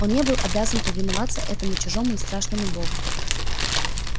он не был обязан повиноваться этому чужому и страшному богу